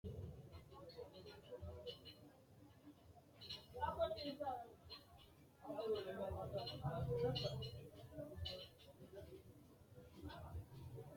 maa xawissanno aliidi misile ? hiitto akati woy kuuli noose yaa dandiinanni tenne misilera? qooxeessisera noori maati ? tini yanna maa kultannote